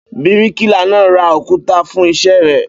Bíríkìlà náà ra òkúta fún iṣẹ́ rẹ̀.